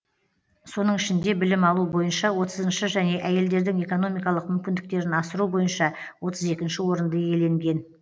соның ішінде білім алу бойынша отызыншы және әйелдердің экономикалық мүмкіндіктерін асыру бойынша отыз екінші орынды иеленген